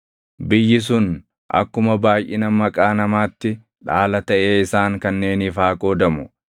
“Biyyi sun akkuma baayʼina maqaa namaatti dhaala taʼee isaan kanneeniif haa qoodamu.